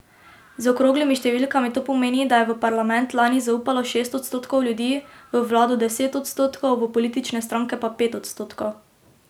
Z okroglimi številkami to pomeni, da je v parlament lani zaupalo šest odstotkov ljudi, v vlado deset odstotkov, v politične stranke pa pet odstotkov.